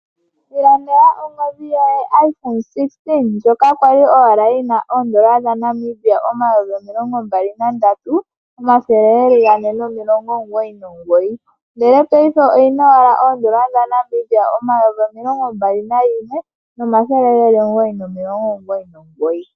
Ilandela ongodhi yoye ndjoka yo iphone 16 ndjoka kwali yina oondola dhaNamibia N$ 23 499.00, ndele paife oyina owala N4 21 999.00.